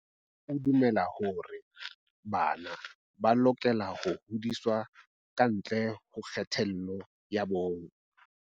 O dumela hore bana ba lokela ho hodiswa ka ntle ho kgethollo ya bong.